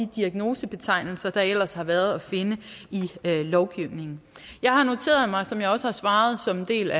diagnosebetegnelser der ellers har været at finde i lovgivningen jeg har noteret mig som jeg også har svaret som en del